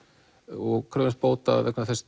og krefjumst bóta vegna þess